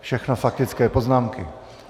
Všechno faktické poznámky.